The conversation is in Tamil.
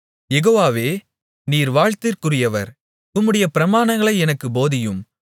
யெகோவாவே நீர் வாழ்த்திற்குரியவர் உம்முடைய பிரமாணங்களை எனக்குப் போதியும்